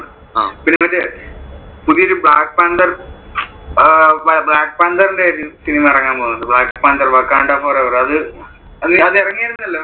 പിന്നെ മറ്റേ പുതിയൊരു black panther അഹ് black panther ഒരു cinema ഇറങ്ങാൻ പോകുന്നുണ്ട് black panther wakkanda forever അത് എറങ്ങിയാരുന്നല്ലോ.